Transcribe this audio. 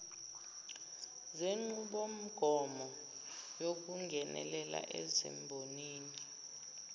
zenqubomgomo yokungenelela ezimbonini